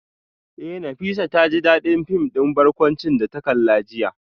Eh Nafisat taji dadin film din barkwanci da ta kalla jiya